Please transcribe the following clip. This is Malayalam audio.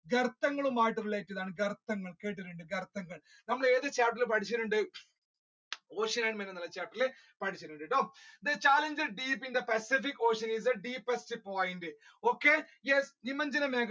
കെർത്തങ്ങൾ ആയിട്ടുള്ള ഇതാണ് കെർത്തങ്ങൾ കേട്ടിട്ടുണ്ട് കെർത്തങ്ങൾ നമ്മൾ ഏത് chapter ഇൽ പഠിച്ചിട്ടുണ്ട് ocean and mineral chapter ഇൽ പഠിച്ചിട്ടുണ്ട് കേട്ടോ the challenges faced in the pacific ocean is the deepest point, okay yes .